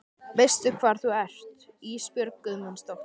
Veistu hvar þú ert Ísbjörg Guðmundsdóttir?